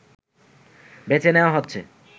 বেছে নেয়া হচ্ছে